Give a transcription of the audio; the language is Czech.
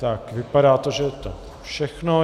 Tak vypadá to, že je to všechno.